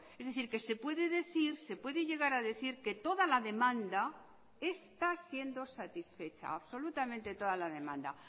es decir que se puede decir se puede llegar a decir que toda la demanda está siendo satisfecha absolutamente toda la demanda